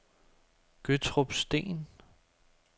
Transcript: Gøttrup Sten